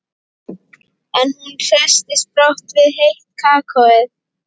En hún hresstist brátt við heitt kakóið.